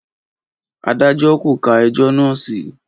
Adájọ́ kò ka ẹjọ́ náà sí.